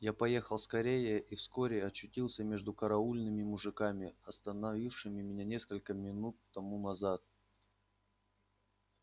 я поехал скорее и вскоре очутился между караульными мужиками остановившими меня несколько минут тому назад